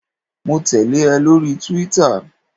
Mo tẹ̀lé ẹ lórí túwítà